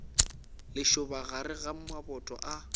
lešoba gare ga maboto a